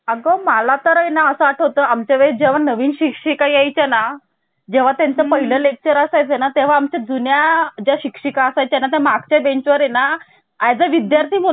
अगं मला तर आहे ना असं आठवतं आमच्या वेळी जेव्हा नवीन शिक्षिका यायचं ना जेव्हा त्यांचं पहिलं लेक्चर असाय चा तेव्हा आमच्या जुन्या ज्या शिक्षिका त्यानंतर मागच्या बेंचवर आहे ना as a विद्यार्थी